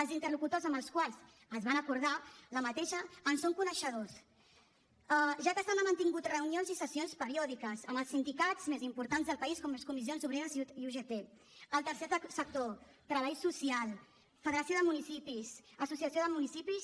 els interlocutors amb els que es va acordar aquesta en són coneixedors ja que s’han mantingut reunions i sessions periòdiques amb els sindicats més importants del país com són comissions obreres i ugt el tercer sector treball social federació de municipis associació de municipis